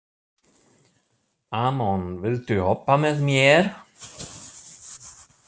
Amon, viltu hoppa með mér?